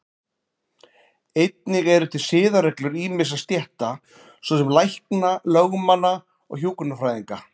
Einnig eru til siðareglur ýmissa stétta, svo sem lækna, lögmanna og hjúkrunarfræðinga.